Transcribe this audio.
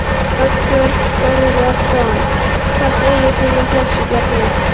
Þorbjörn Þórðarson: Hvað segir þú við þessu, Bjarni?